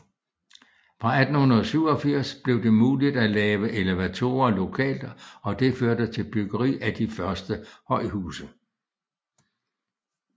Fra 1887 blev det muligt at lave elevatorer lokalt og det førte til byggeri af de første højhuse